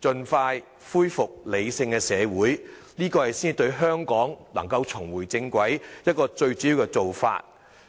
盡快恢復理性社會，這才是令香港能夠重回正軌的一個最主要做法。